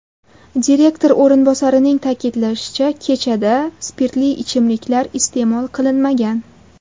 Direktor o‘rinbosarining ta’kidlashicha, kechada spirtli ichimliklar iste’mol qilinmagan .